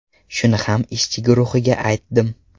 Shuni ham ishchi guruhiga aytdim.